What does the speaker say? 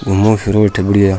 घूमो फिरो अठ बड़ियां।